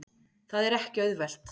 Það er ekki auðvelt.